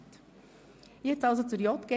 Wir beginnen mit der JGK.